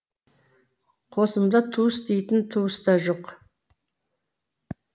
қосымда туыс дейтін туыс та жоқ